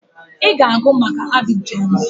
I ga-agụ maka Abidjan!